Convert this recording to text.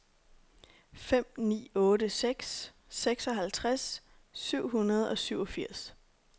fem ni otte seks seksoghalvtreds syv hundrede og syvogfirs